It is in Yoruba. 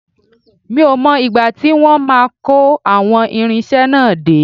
Mi ò mọ ìgbà tí wọ́n máa kó àwọn irinṣẹ́ náà dé